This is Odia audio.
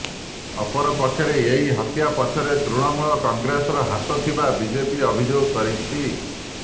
ଅପର ପକ୍ଷରେ ଏହି ହତ୍ୟା ପଛରେ ତୃଣମୂଳ କଂଗ୍ରେସର ହାତଥିବା ବିଜେପି ଅଭିଯୋଗ କରିଛି